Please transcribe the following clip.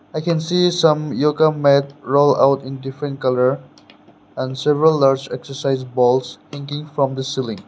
I can see some yoga mat roll out in different colour and several large excercise balls hanging from the ceiling.